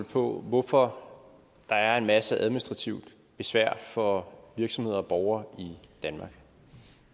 på hvorfor der er en masse administrativt besvær for virksomheder og borgere i danmark